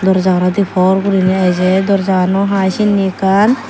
durjanadi por guri eje durjagano haai sine ekan.